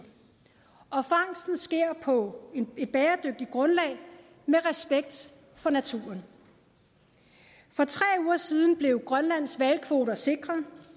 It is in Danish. og fangsten sker på et bæredygtigt grundlag med respekt for naturen for tre uger siden blev grønlands hvalkvoter sikret